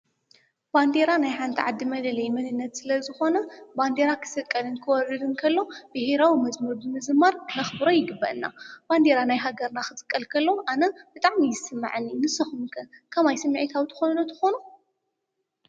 ባንዴራ ናይ ሓንታ ዓዲ መለለይ ምንነት ስለ ዝኾነ ባንዴራ ኽሰቀልን ክወሪድ እንከሎ ብሄራዊ መዝሙር ብምዝማር ኽነክቡሮ ይግበአና። ባንዴራ ናይ ሃገርና ኽስቀል ከሎ ኣነ ብጣዕሚ እዩ ዝስማዐኒ ንስኹምከ ከማይ ሰሚዕታዊ ትኾኑ ዶ ትኾኑ?